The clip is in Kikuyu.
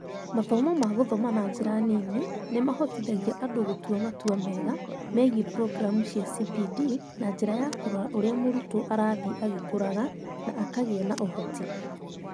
Mathomo ma gũthoma na njĩra nini nĩ mahotithagia andũ gũtua matua mega megiĩ programu cia CPD na njĩra ya kũrora ũrĩa mũrutwo arathiĩ agĩkũraga na akagĩa na ũhoti.